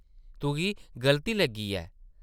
तुगी गल्ती लग्गी ऐ ।